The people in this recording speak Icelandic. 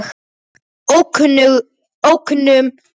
Lykt frá ókunnum löndum.